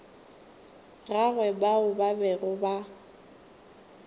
gagwe bao ba bego ba